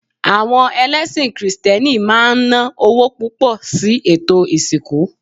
Awo̩n ẹlẹ́sìn krìstẹ́nì maa n na owo pupo̩ si ètò ìsìnkú